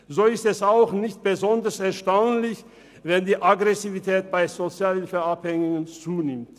So ist es auch nicht besonders erstaunlich, wenn die Aggressivität bei Sozialhilfeabhängigen zunimmt.